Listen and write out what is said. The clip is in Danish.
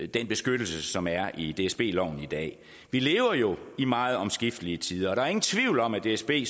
den beskyttelse som er i dsb loven i dag vi lever jo i meget omskiftelige tider og der er ingen tvivl om at dsb